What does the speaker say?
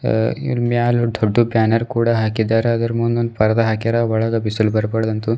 ಇದರ ಮ್ಯಾಲ ದೊಡ್ಡ ಬ್ಯಾನರ್ ಕೂಡ ಹಾಕಿದ್ದಾರೆ ಅದರ ಮುಂದೆ ಒಂದು ಪರದ ಆಕೆರಾ ಒಳಗೆ ಬಿಸಿಲು ಬರಬಾರದು ಅಂತ.